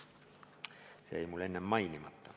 See jäi mul enne mainimata.